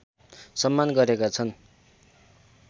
सम्मान गरेका छन्